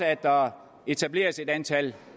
at der etableres et antal